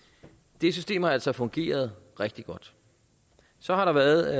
det system har altså fungeret rigtig godt så har der været